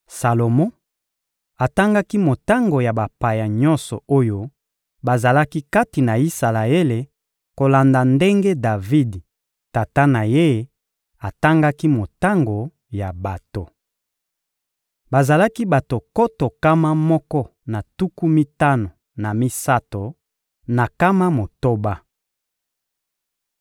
Salomo atangaki motango ya bapaya nyonso oyo bazalaki kati na Isalaele kolanda ndenge Davidi, tata na ye, atangaki motango ya bato. Bazalaki bato nkoto nkama moko na tuku mitano na misato na nkama motoba.